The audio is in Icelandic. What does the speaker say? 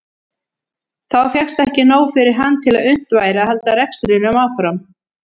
Þá fékkst ekki nóg fyrir hann til að unnt væri að halda rekstrinum áfram.